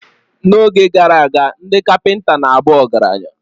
N’oge gara aga, ndị kapinta na abu ọgaranya.